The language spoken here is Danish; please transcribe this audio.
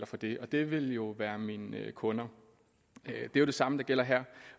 for det og det ville jo være mine kunder det er jo det samme der gælder her